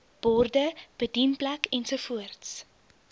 borde bedienplek ensovoorts